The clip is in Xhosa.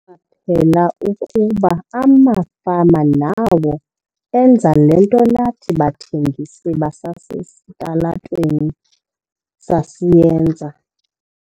ela ukuba amafama nawo enza le nto nathi bathengisi basesitalatweni sasiyenza."